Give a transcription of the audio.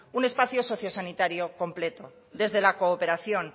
un espacio sociosanitario completo desde la cooperación